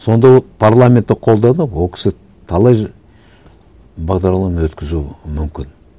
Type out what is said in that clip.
сонда ол парламентті қолдады ол кісі талай бағдарламаны өткізуі мүмкін